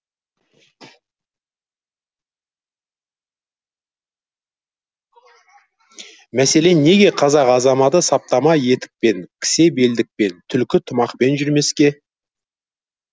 мәселен неге қазақ азаматы саптама етікпен кісе белдікпен түлкі тымақпен жүрмеске